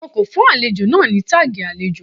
Wọn kò fún àlejò náà ní táàgì àlejò.